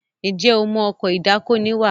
Njé o mọ Ọkọ̀ ìdákoní wà?